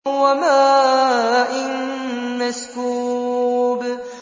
وَمَاءٍ مَّسْكُوبٍ